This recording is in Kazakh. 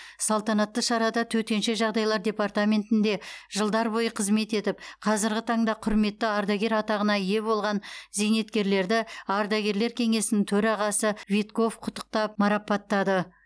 салтанатты шарада төтенше жағдайлар департаментінде жылдар бойы қызмет етіп қазірғі таңда құрметті ардагер атағына ие болған зейнеткерлерді ардагерлер кеңесінің төрағасы витков құттықтап марапаттады